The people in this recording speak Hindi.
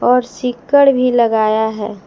और सीकड़ भी लगाया है।